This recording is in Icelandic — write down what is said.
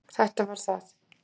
Þetta var það.